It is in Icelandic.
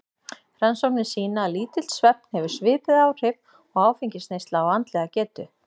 Rannsóknir sýna að lítill svefn hefur svipuð áhrif og áfengisneysla á andlega getu.